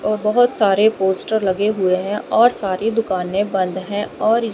औ बहोत सारे पोस्टर लगे हुए हैं और सारी दुकाने बंद है और--